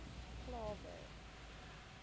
klawer